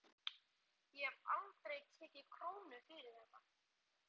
Ég hef aldrei tekið krónu fyrir þetta.